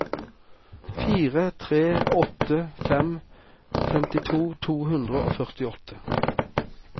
fire tre åtte fem femtito to hundre og førtiåtte